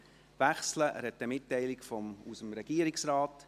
Er hat eine Mitteilung aus dem Regierungsrat.